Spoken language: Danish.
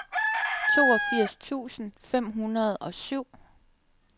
toogfirs tusind fem hundrede og syv